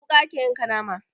Da wuƙa ake yanka nama